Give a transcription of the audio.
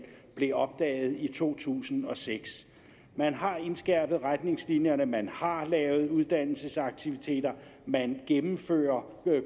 blev opdaget i to tusind og seks man har indskærpet retningslinjerne man har lavet uddannelsesaktiviteter man gennemfører